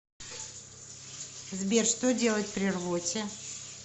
сбер что делать при рвоте